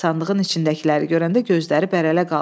Sandığın içindəkiləri görəndə gözləri bərələ qaldı.